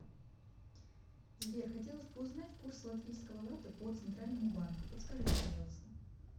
сбер хотелось бы узнать курс латвийского лата по центральному банку подскажите пожалуйста